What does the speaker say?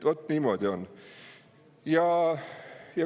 Vaat niimoodi on.